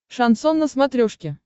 шансон на смотрешке